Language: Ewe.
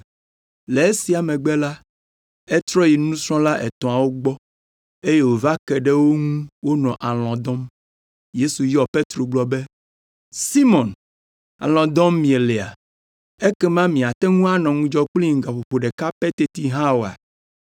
Le esia megbe la, etrɔ yi nusrɔ̃la etɔ̃awo gbɔ eye wòva ke ɖe wo ŋu wonɔ alɔ̃ dɔm. Yesu yɔ Petro gblɔ be, “Simɔn, alɔ̃ dɔm mielea? Ekema miate ŋu anɔ ŋudzɔ kplim gaƒoƒo ɖeka pɛ teti hã oa?